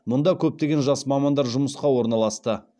мұнда көптеген жас мамандар жұмысқа орналасты